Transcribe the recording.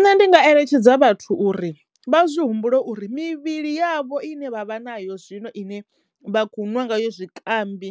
Nṋe ndi nga eletshedza vhathu uri vha zwi humbule uri mivhili yavho ine vha vha na yo zwino ine vha khou nwa nga yo zwikambi